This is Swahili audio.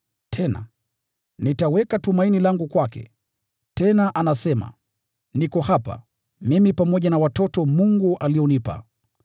Tena, “Nitaweka tumaini langu kwake.” Tena anasema, “Niko hapa, pamoja na watoto ambao Mungu amenipa.”